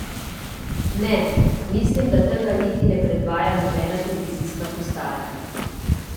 Ne, mislim, da tega niti ne predvaja nobena televizijska postaja.